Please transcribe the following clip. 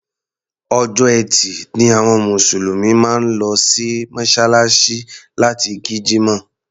Ọjọ́ Ẹtì ni àwọn Mùsùlùmí máa ń lọ sí Mọ́ṣáláṣí láti kí Jímọ̀.